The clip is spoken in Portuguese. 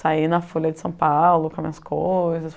Saí na Folha de São Paulo com as minhas coisas.